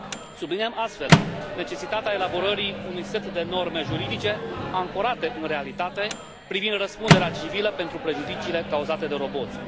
Subliniem, astfel, necesitatea elaborării unui set de norme juridice ancorate în realitate privind răspunderea civilă pentru prejudiciile cauzate de roboți.